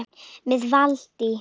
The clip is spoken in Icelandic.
Með Valtý